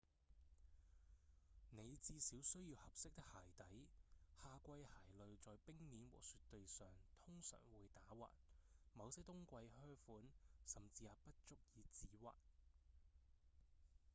你至少需要合適的鞋底夏季鞋類在冰面和雪地上通常會打滑某些冬季靴款甚至也不足以止滑